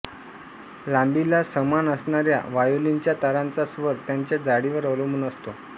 लांबीला समान असणाऱ्या व्हायोलिनच्या तारांचा स्वर त्यांच्या जाडीवर अवलंबून असतो